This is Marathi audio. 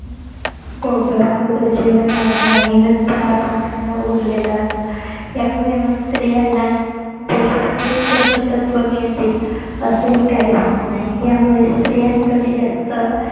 पोटभर अगोदर जेवण वाढणं आणि नंतर आपण खाणं उरलेलं अन्न यामुळे मग स्त्रीयांना ती सगळे पोशाक तत्व मिळतील असेही काही होत नाही यामुळे स्त्रियांकडे जास्त